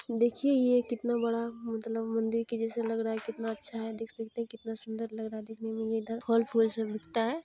देखिए यह कितना बड़ा मतलब मंदिर जैसे लग रहा है कितना अच्छा है देख सकते है कितना सुंदर लग रहा है देखने मे ये इधर दिखता है।